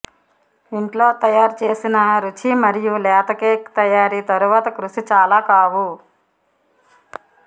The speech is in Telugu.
ఇంట్లో తయారు చేసిన రుచి మరియు లేత కేక్ తయారీ తరువాత కృషి చాలా కావు